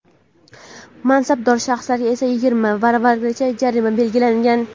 mansabdor shaxslarga esa yigirma baravarigacha jarima belgilangan.